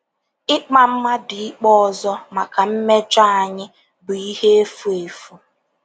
Ịkpa mmadụ ikpe ọzọ maka mmejọ anyị bụ ihe efu efu.